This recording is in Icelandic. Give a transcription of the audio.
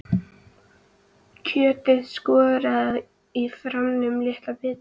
Kjötið skorið í fremur litla bita.